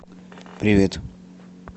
привет